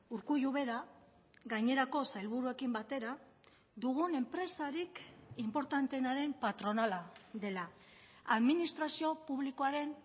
urkullu bera gainerako sailburuekin batera dugun enpresarik inportanteenaren patronala dela administrazio publikoaren